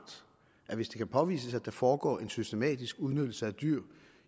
at hvis det kan påvises at der foregår en systematisk udnyttelse af dyr